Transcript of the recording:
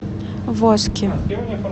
воски